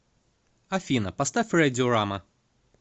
афина поставь рэдиорама